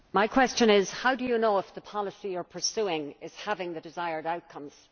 Mr President, my question is how do you know if the policy you are pursuing is having the desired outcomes?